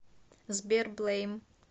сбер блэйм